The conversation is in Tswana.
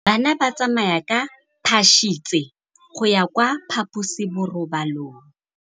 Bana ba tsamaya ka phašitshe go ya kwa phaposiborobalong.